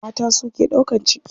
Mata su ke ɗaukan ciki.